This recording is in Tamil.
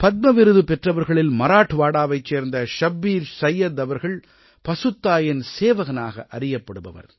பத்ம விருது பெற்றவர்களில் மராட்வாடாவைச் சேர்ந்த ஷப்பீர் சைய்யத் அவர்கள் பசுத்தாயின் சேவகனாக அறியப்படுபவர்